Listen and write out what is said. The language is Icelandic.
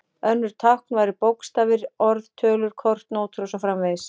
Önnur tákn væru bókstafir, orð, tölur, kort, nótur og svo framvegis.